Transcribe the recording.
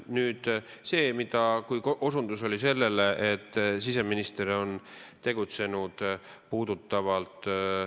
Nüüd, siin osutati siseministri tegutsemisele.